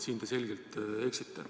Siin te selgelt eksite.